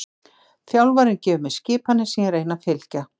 Þjálfarinn gefur mér skipanir sem ég reyni að fylgja.